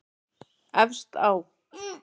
Efst á